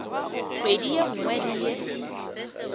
kgwedi ye nngwe le ye